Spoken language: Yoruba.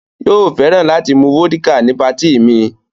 Yóò fẹ́ràn láti mu vódíkà ní patí mi.